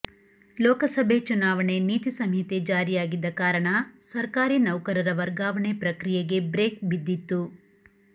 ಲೋಕಸಭೆ ಚುನಾವಣೆ ನೀತಿ ಸಂಹಿತೆ ಜಾರಿಯಾಗಿದ್ದ ಕಾರಣ ಸರ್ಕಾರಿ ನೌಕರರ ವರ್ಗಾವಣೆ ಪ್ರಕ್ರಿಯೆಗೆ ಬ್ರೇಕ್ ಬಿದ್ದಿತ್ತು